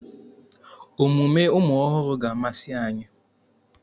Omume ụmụ ọhụrụ ga-amasị anyị.